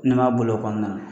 O nɔn b'a bolo kɔnɔna na.